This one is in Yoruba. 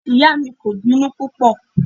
Ìyá mi kò bínú púpọ̀.